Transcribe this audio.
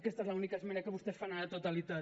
aquesta és l’única esmena que vostès fan a la totalitat